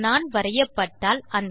ஒரு நாண் வரையப்பட்டால்